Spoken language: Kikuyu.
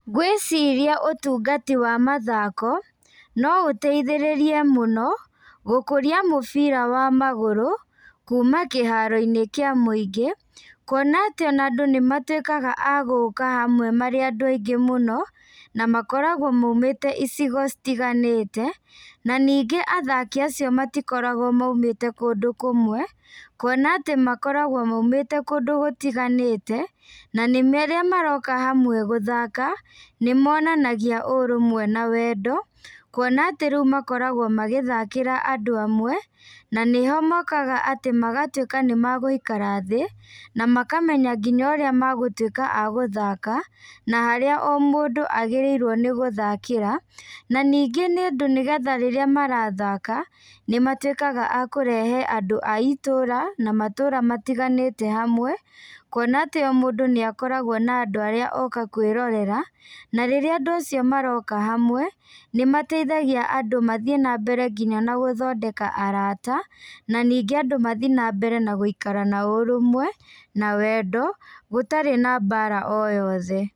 Ngwĩciria ũtungati wa mathako, no ũteithĩrĩrie mũno, gũkũria mũbira wa magũrũ, kuma kĩharoinĩ kĩa mũingĩ, kuona atĩ ona andũ nĩmatuĩkaga agũka hamwe marĩ andũ aingĩ mũno, na makoragwo maumĩte icigo citiganĩte, na ningĩ athaki acio matikoragwo maumĩte kũndũ kũmwe, kuona atĩ makoragwo maumĩte kũndũ gũtiganĩte, nanĩme rĩrĩa maroka hamwe gũthaka, nĩmonanagia ũrũmwe na wendo, kuona atĩ rĩũ makoragwo magĩthakĩra andũ amwe, na nĩho mokaga atĩ magatuĩka nĩmagũikara thĩ, namakamenya nginya arĩa magũtuĩka a gũthaka, na harĩa o mũndũ agĩrĩirwo nĩgũthakĩra, na ningĩ nĩ ũndũ nĩgetha rĩrĩa marathaka, nĩmatuĩkaga a kũrehe andũ a itũra, namatũra matiganĩte hamwe, kuona atĩ o mũndũ nĩakoragwo na andũ arĩa oka kwĩrorera, na rĩrĩa andũ acio maroka hamwe, nĩmateithagia andũ mathiĩ nambere nginya na gũthondeka arata, na ningĩ andũ mathiĩ nambere na gũikara na ũrũmwe, na wendo, gũtarĩ na mbara o yothe.